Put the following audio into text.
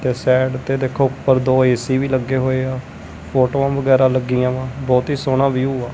ਤੇ ਸਾਈਡ ਤੇ ਦੇਖੋ ਉੱਪਰ ਦੋ ਏ_ਸੀ ਵੀ ਲੱਗੇ ਹੋਏ ਆ ਫ਼ੋਟੋਆਂ ਵਗੈਰਾ ਲੱਗੀਆਂ ਵਾਂ ਬਹੁਤ ਹੀ ਸੋਹਣਾ ਵਿਊ ਆ।